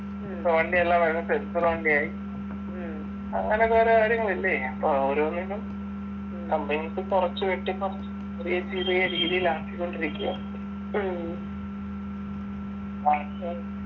ഇപ്പൊ വണ്ടിയെല്ലാം sensor വണ്ടിയായി അങ്ങനെ കൊറേ കാര്യങ്ങളില്ലേ അപ്പൊ ഓരോന്നിനും companies കുറച്ച് വെട്ടിക്കുറച്ച് ചെറിയ ചെറിയ രീതിയിലാക്കിക്കൊണ്ടിരിക്കയാ